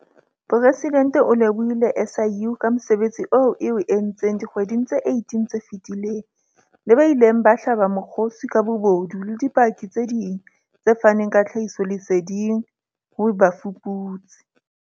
Presidente o lebohile SIU ka mosebetsi oo e o entseng dikgweding tse 18 tse fetileng, le ba ileng ba hlaba mokgosi ka bobodu le dipaki tse ding tse faneng ka tlhahisoleseding ho bafuputsi.